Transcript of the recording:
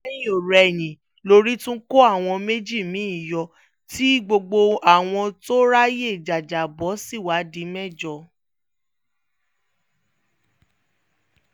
lẹ́yìn-ọ̀-rẹyìn lórí tún kó àwọn méjì mi-ín yọ tí gbogbo àwọn tó ráàyè jájábọ́ sì wáá di mẹ́jọ